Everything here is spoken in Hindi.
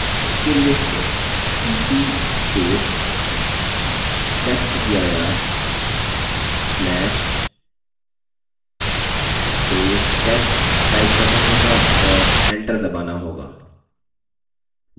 उसके लिए हमें cp testdir/test type करना होगा और enter दबाना होगा